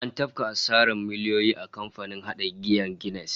An tafka asarar miliyoyi a kamfanin hada giyar Guinness